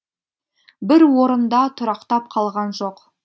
бір орында тұрақтап қалған жоқ